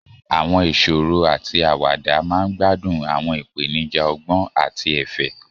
Àwọn ìṣòro àti àwàdà máa ń gbádùn àwọn ìpèníjà ọgbọ́n àti ẹ̀fẹ̀.